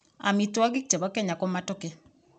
Amitwokik che bo kenyaa ko Matoke.